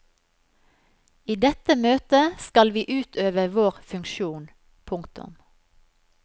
I dette møtet skal vi utøve vår funksjon. punktum